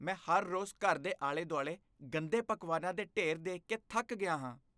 ਮੈਂ ਹਰ ਰੋਜ਼ ਘਰ ਦੇ ਆਲੇ ਦੁਆਲੇ ਗੰਦੇ ਪਕਵਾਨਾਂ ਦੇ ਢੇਰ ਦੇਖ ਕੇ ਥੱਕ ਗਿਆ ਹਾਂ